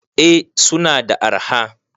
eh suna da arha